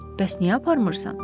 Bəs niyə aparmırsan?